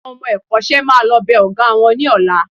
Àwọn ọmọ ẹ̀kọ́ṣẹ́ máa lọ bẹ Ọ̀gá wọn ní ọ̀la